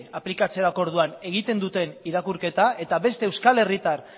aplikatzerako orduan egiten duten irakurketa eta beste euskal herritar